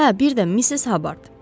Hə, bir də Misses Habard.